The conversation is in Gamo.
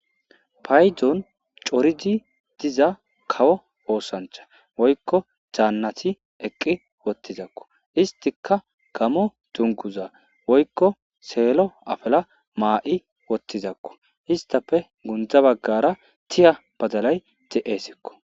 Paydzon coridi diza kawo oosancha woykko jaannati eqqi wottizakko istika gamo dunguza woykko seelo afala maa,i wottizakko istafe gundza baggara tiya bazalay te.eesikko.